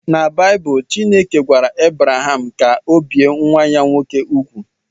Na Baịbụl, Chineke gwara Ebraham ka ọ bie nwa ya nwoke úgwù